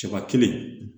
Cɛba kelen